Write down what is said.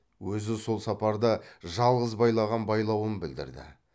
өзі сол сапарда жалғыз байлаған байлауын білдірді